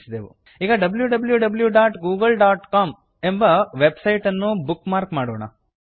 ಈಗ wwwgooglecom W W W dot Google dot com ಎಂಬ website ಅನ್ನು bookmark ಮಾಡೋಣ